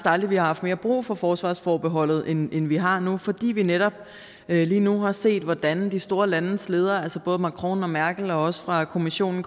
aldrig har haft mere brug for forsvarsforbeholdet end vi har nu fordi vi netop lige nu har set hvordan de store landes ledere altså både macron og merkel og også fra kommissionen